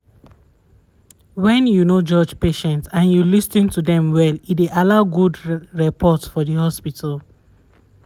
wen you no judge patients and you lis ten to dem well e dey allow good for the hospital